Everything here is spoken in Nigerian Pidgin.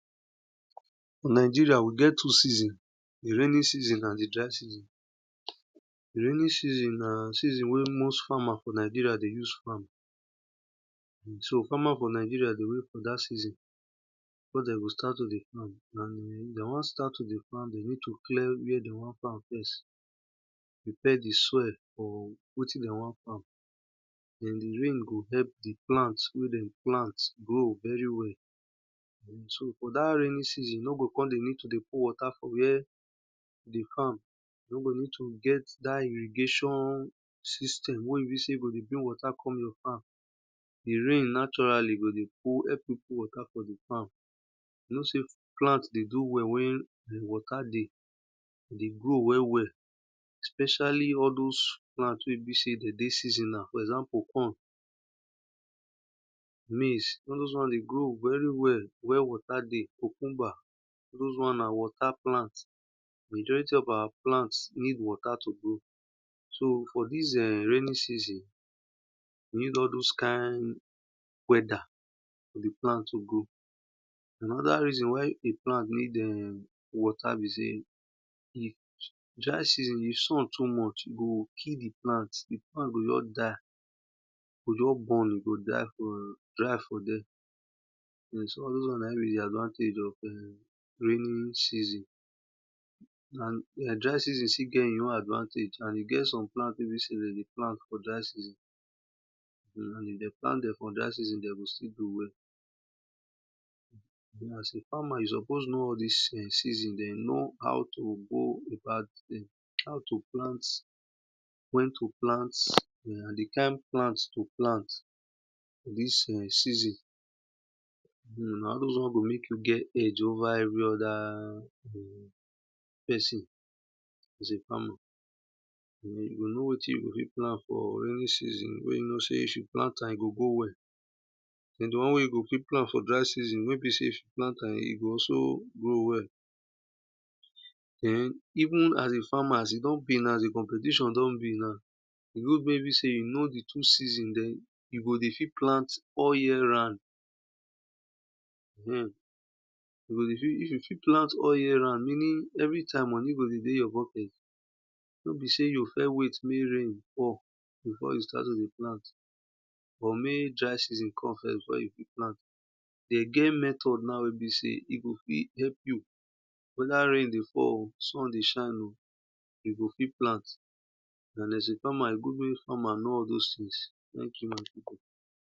Fornigeria, we get two season di raining season and di dry season. Di raining season na seson wey most farmer for Nigeria dey use farm. So farmr for nigrian dey wait for dat season wey de go start todey farm and if de won start to dey afrm, de go need clear where de won farm depending on di soil and di rain go help di plent wey dem plant grow well well so for dat raining season, you no go need to dey pour water you no go need to get dat irrigation system wey be sey go dey bring water come your farm. Di rain naturally go dey help you put watr for di farm. You know sey plant de do well wen wate dey especially all those plant wen be sey den dey seasonal for example corn, all those won dey grow very well wen water dey, cucumber all those won na watr plant. Majority of our plant need water to grow. So for dis[um]raining season, we need all those kind weather for plant to grow. Anoda reason why di plant need water be sey dry season di sun too much e go kill di plant, di plant go just die, e go die for there and na in be advantage of raining season. And dry season still get e own advantage and e get some plant wey be sey de dey plant for dry seson and if dem plant dem for dey season de go still grow well. So as a farmer you suppose know all thise season den know how to plant, wen to plant and di kind plant to plant. Dis season. Na all those won go mek get edge over every other pesin. You goknow wetin you o fit plant for raining season wen you knw sey if you plant am, e gho grow well, den di one wey if you plant am for dry season wen e be sey if you plant am e go also grow wekll. Den even as di farmer as e don be now di competition don be now wen e be sey e know di twoi sesn you go dey fit plant all yer round, if you fit plant all year round, meaning everytime money go dey dey your pocket no be seyv you o first wait mek rain fall before you o fit start to plant. De get method now wen b sey e go fit help you weda rain dey fallo sun dey shine o, e go fit plan en as a farmer e good mek farmr know all those things, thmank you my pipu.